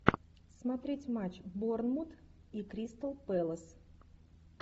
смотреть матч борнмут и кристал пэлас